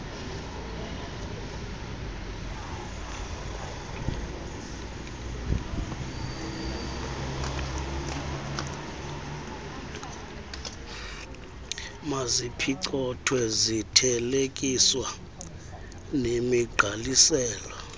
maziphicothwe zithelekiswa nemigqalisela